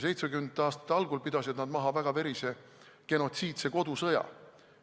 Seitsmekümnendate aastate algul pidasid nad maha väga verise genotsiidse kodusõja.